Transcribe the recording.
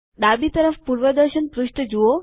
ડાબી તરફ પૂર્વદર્શન પૃષ્ઠ જુઓ